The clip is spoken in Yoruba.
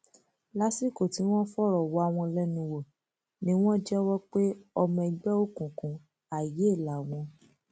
lásìkò tí wọn fọrọ wá wọn lẹnu wò ni wọn jẹwọ pé ọmọ ẹgbẹ òkùnkùn àìyè làwọn